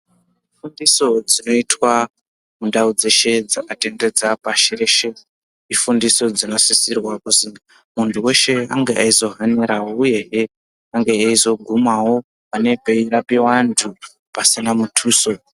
Fundiso dzinoitwa mundau dzeshe dzingatendedza pashi reshe. Ifundiso dzinosisirwa kuzi muntu veshe ange eizohaniravo, uyehe ange eizogumavo pane peirapiva antu pasina mutuso.